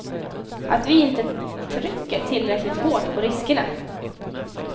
Att vi inte trycker tillräckligt hårt på riskerna.